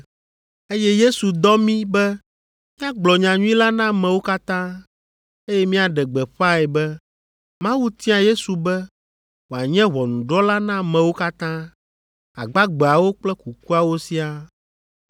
Eye Yesu dɔ mí be míagblɔ nyanyui la na amewo katã, eye míaɖe gbeƒãe be Mawu tia Yesu be wòanye ʋɔnudrɔ̃la na amewo katã, agbagbeawo kple kukuawo siaa.